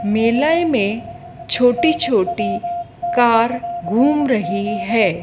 Malayi मैं छोटी छोटी कार घूम रही हैं।